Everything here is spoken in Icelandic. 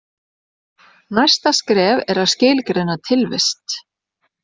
Næsta skref er að skilgreina tilvist.